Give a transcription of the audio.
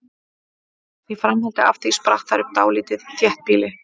Í framhaldi af því spratt þar upp dálítið þéttbýli.